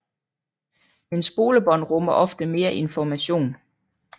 Men spolebånd rummer ofte mere information